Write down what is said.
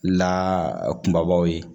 La kunbabaw ye